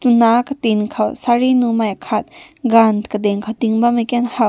tuna na katin kaw saree nun nai kat gun kading na tai haw.